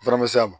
Fura ma se a ma